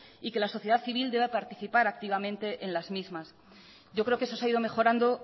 y que la sociedad civil debe participar activamente en las mismas yo creo que eso se ha ido mejorando